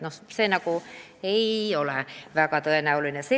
Nii et see ei ole väga tõenäoline.